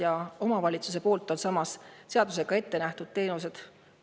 Samas on omavalitsusel vaja seadusega ettenähtud teenused.